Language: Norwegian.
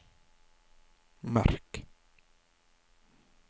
merk